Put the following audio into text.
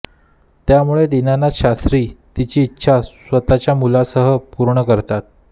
त्यामुळे दीनानाथ शास्त्री तिची इच्छा स्वतःच्या मुलांसह पूर्ण करतात